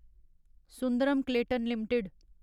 Sundaram Clayton limited